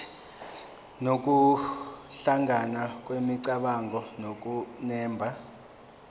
nokuhlangana kwemicabango nokunemba